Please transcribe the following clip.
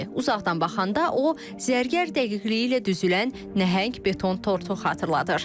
Uzaqdan baxanda o, zərgər dəqiqliyi ilə düzülən nəhəng beton tortu xatırladır.